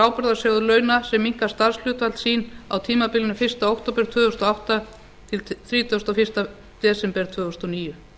ábyrgðasjóð launa sem minnkar starfshlutföll sín á tímabilinu fyrsta október tvö þúsund og átta til þrítugasta og fyrsta desember tvö þúsund og níu